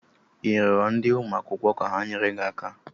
ị rịọrọ onye ụmụ akwụkwọ ka ha nyere gị aka?